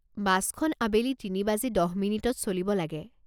বাছখন আবেলি তিনি বাজি দহ মিনিটত চলিব লাগে।